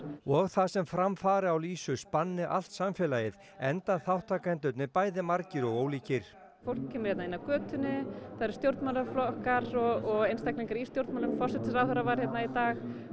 og það sem fram fari á lýsu spanni allt samfélagið enda þátttakendurnir bæði margir og ólíkir fólk kemur hérna inn af götunni það eru stjórnmálaflokkar og einstaklingar í stjórnmálum forsætisráðherra var hérna í dag